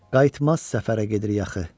Qayıtmaz səfərə gedirik axı.